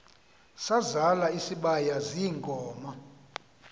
sazal isibaya ziinkomo